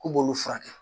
K'u b'olu furakɛ